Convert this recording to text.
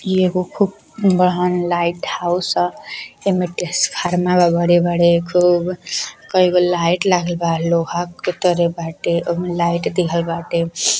इ एगो खूब बड़हन लाइट हाउस ह। एमे ट्रांसफर्मर बा। बड़े-बड़े खूब कईगो लाइट लगलबा। लोहा के तरह बाटे ओमे लाइट दिहल बाटे।